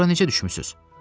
Bura necə düşmüsüz?